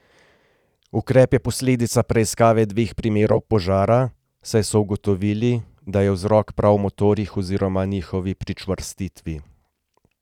Ukrep je posledica preiskave dveh primerov požara, saj so ugotovili, da je vzrok prav v motorjih oziroma njihovi pričvrstitvi.